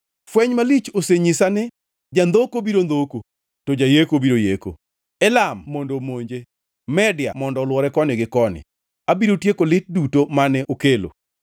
Fweny malich osenyisa ni: Jandhoko biro ndhoko, to jayeko biro yeko. Elam mondo omonje! Media mondo olwore koni gi koni! Abiro tieko lit duto mane okelo.